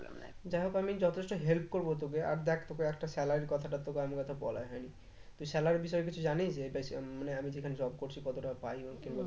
যাইহোক আমি যথেষ্ট help করবো তোকে আর দেখ তোকে একটা salary এর কথাটা তো তোকে বলাই হয়নি তো salary এর বিষয়ে কিছু জানিন যেটা মানে আমি যেখানে job করছি কত টাকা পায় এবং এমন কিছু?